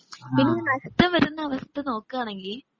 പിന്നെ നഷ്ടം വരുന്ന അവസ്ഥ നോക്കുകയാണെങ്കിൽ